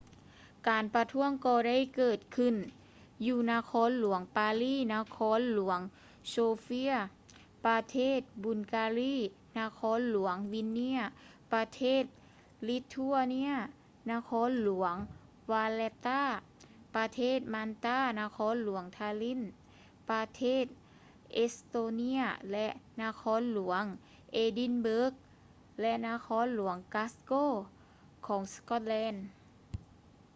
ການປະທ້ວງກໍໄດ້ເກີດຂຶ້ນຢູ່ນະຄອນຫຼວງ ປາລີ ນະຄອນຫຼວງ ໂຊເຟຍ sofia ປະເທດ ບຸນກາລີ bulgaria ນະຄອນຫຼວງ ວິນເນຍສ໌ vilnius ປະເທດ ລິດທົວເນຍ ນະຄອນຫຼວງ ວາແລັດຕາ valetta ປະເທດ ມານຕາ ນະຄອນຫຼວງ ທາລິນ tallinn ປະເທດ ເອັດສະໂຕເນຍ ແລະ ນະຄອນເອດີນເບີກ edinburgh ແລະ ນະຄອນ ກຼາສ໌ໂກ glasgow ຂອງ ສະກອດແລນ